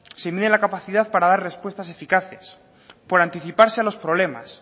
se mide la capacidad para dar respuestas eficaces por anticiparse a los problemas